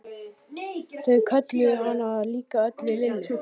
Þau kölluðu hana líka öll Lillu.